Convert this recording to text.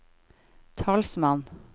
talsmann